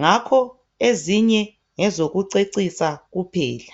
ngakho ezinye ngezokucecisa kuphela.